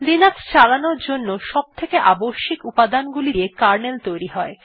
Linux চালানোর জন্য সবথেকে আবশ্যিক উপাদানগুলি দিয়ে কার্নেল তৈরী হয়